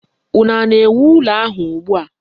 Unu na-ewu ụlọ ahụ ugbua?